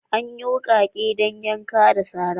Anyi wukake dan yanka da sara.